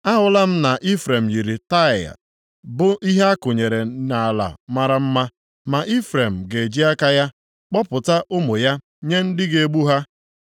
Ahụla m na Ifrem yiri Taịa, bụ ihe akụnyere nʼala mara mma. Ma Ifrem ga-eji aka ya kpọpụta ụmụ ya nye ndị ga-egbu ha.”